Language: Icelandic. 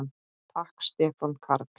Takk Stefán Karl.